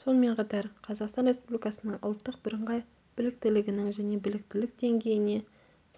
сонымен қатар қазақстан республикасының ұлттық бірыңғай біліктілігінің және біліктілік деңгейіне